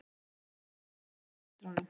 Bragi man vel eftir systrunum